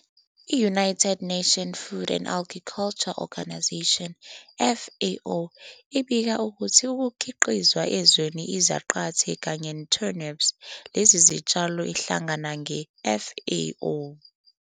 I-United Nations Food and Agriculture Organization, FAO, ibika ukuthi ukukhiqizwa ezweni izaqathe kanye turnips, lezi zitshalo ehlangana nge FAO,